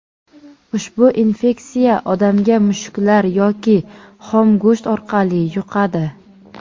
Ushbu infeksiya odamga mushuklar yoki xom go‘sht orqali yuqadi.